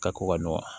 Ka ko ka nɔgɔ